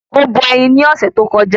Ó bọ ẹyin ni ọ̀sẹ̀ tó kọjá